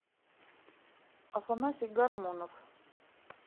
афанасий гармонов